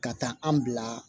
Ka taa an bila